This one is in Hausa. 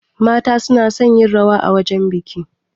Mata suna son yin rawa a wajajen biki.